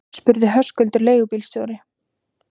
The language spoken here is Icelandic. spurði Höskuldur leigubílstjóri.